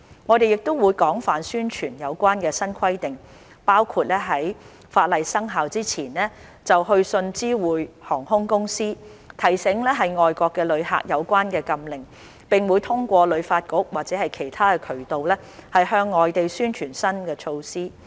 我們會廣泛宣傳有關的新規定，包括在法例生效之前就會去信知會航空公司，提醒外國的旅客有關的禁令，並會通過旅發局或其他渠道，向外地宣傳新措施。